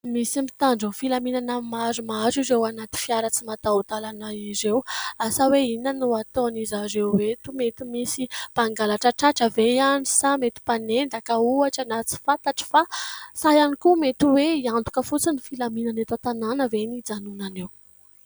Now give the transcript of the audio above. Misy mitandron'ny filaminana maromaro ireo ao anaty fiara tsy mataho-dalana ireo. Asa hoe inona no ataon'izareo eto ? Mety misy mpangalatra tratra ve any sa mety mpanendaka ohatra na tsy fantatra fa sa ihany koa mety hoe hiantoka fotsiny ny filaminana eto an-tanàna ve no ijanonana eo ?